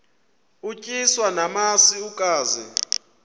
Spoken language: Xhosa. utyiswa namasi ukaze